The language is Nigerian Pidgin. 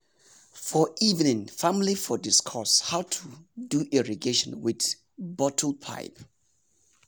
for evening family go discuss how to do irrigation with bottle pipe.